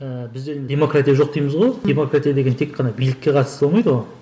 ыыы бізде демократия жоқ дейміз ғой демократия деген тек қана билікке қатысты болмайды ғой